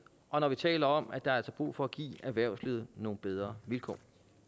og når vi taler om at der er brug for at give erhvervslivet nogle bedre vilkår